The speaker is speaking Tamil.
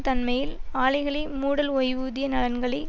தன்மையில் ஆலைகளை மூடல் ஓய்வூதிய நலன்களை